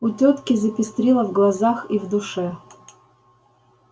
у тётки запестрило в глазах и в душе